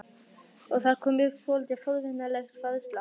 Og það kom upp svolítið forvitnileg færsla.